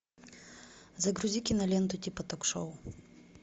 загрузи киноленту типа ток шоу